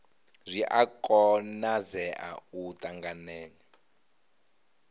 zwi a konadzea u ṱanganya